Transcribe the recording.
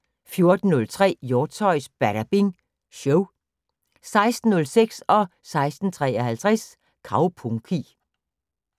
14:03: Hjortshøjs Badabing Show 16:06: Kaupunki 16:53: Kaupunki